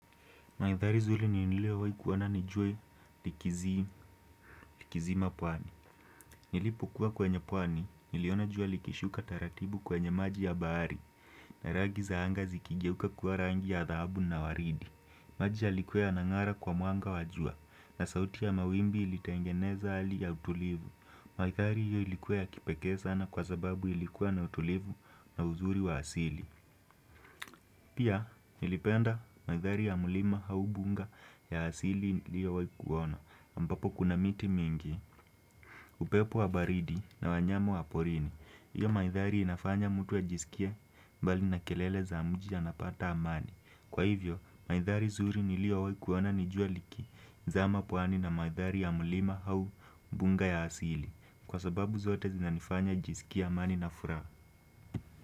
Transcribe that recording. Mandhari zuri nililowahi kuona ni jua likizima pwani. Nilipokuwa kwenye pwani, niliona jua likishuka taratibu kwenye maji ya bahari. Na rangi za anga zikigeuka kuwa rangi ya dhahabu na waridi. Maji yalikuwa yanang'ara kwa mwanga wa jua na sauti ya mawimbi ilitengeneza hali ya utulivu. Mandhari hiyo ilikuwa ya kipekee sana kwa sababu ilikuwa na utulivu na uzuri wa asili. Pia nilipenda mandhari ya mlima au mbuga ya asili niliowahi kuona ambapo kuna miti mingi, upepo wa baridi na wanyama wa porini. Hiyo mandhari inafanya mtu ajisikie mbali na kelele za mji anapata amani. Kwa hivyo mandhari zuri niliyowahi kuona ni jua liki zama pwani na mandhari ya mlima au mbuga ya asili. Kwa sababu zote zinanifanya nijisikie amani na furaha.